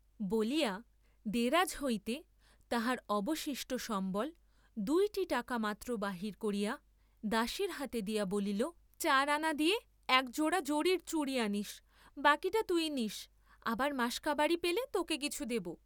বলিয়া, দেরাজ হইতে তাহার অবশিষ্ট সম্বল দুইটি টাকা মাত্র বাহির করিয়া দাসীর হাতে দিয়া বলিল চার আনা দিয়ে এক জোড়া জরির চুড়ি আনিস্বা, কিটা তুই নিস্, আবার মাসকাবারি পেলে তোকে কিছু দেব।